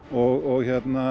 og